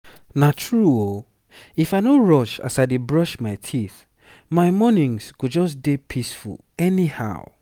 na true ooh if i no rush as i dey brush my teeth my mornings go just dey peaceful anyhow.